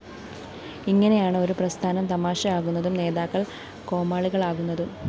ഇങ്ങനെയാണ് ഒരു പ്രസ്ഥാനം തമാശയാകുന്നതും നേതാക്കള്‍ കോമാളികളാകുന്നതും!